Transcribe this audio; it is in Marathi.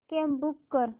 कॅब बूक कर